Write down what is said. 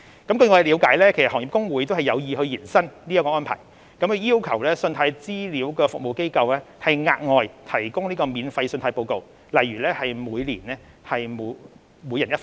據我了解，行業公會有意延伸這項安排，要求信貸資料服務機構額外提供免費的信貸報告，例如每人每年一份。